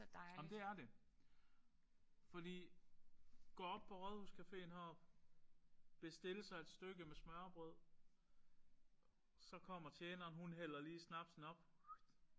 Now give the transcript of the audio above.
Ej men det er det. Fordi gå op på Rådhuscaféen heroppe bestille sig et stykke med smørrebrød så kommer tjeneren hun hælder lige snapsen op